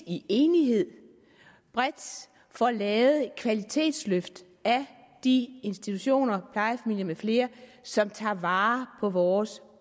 i enighed bredt får lavet et kvalitetsløft af de institutioner plejefamilier med flere som tager vare på vores